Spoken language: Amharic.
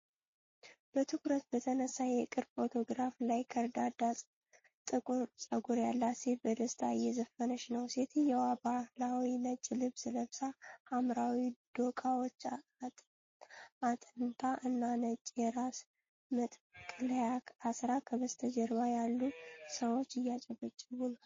በትኩረት በተነሳ የቅርብ ፎቶግራፍ ላይ፣ ከርዳዳ ጥቁር ፀጉር ያላት ሴት በደስታ እየዘፈነች ነው። ሴትየዋ ባህላዊ ነጭ ልብስ ለብሳ፣ ሐምራዊ ዶቃዎች አጥንታ እና ነጭ የራስ መጠቅለያ አስራ፣ ከበስተጀርባ ያሉ ሰዎች እያጨበጨቡ ነው።